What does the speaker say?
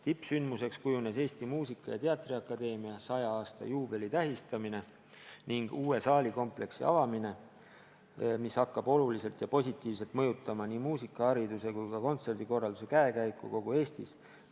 Tippsündmuseks kujunes Eesti Muusika- ja Teatriakadeemia 100 aasta juubeli tähistamine ning uue saalikompleksi avamine, mis hakkab oluliselt ja positiivselt mõjutama nii muusikahariduse kui ka kontserdikorralduse käekäiku kogu Eestis.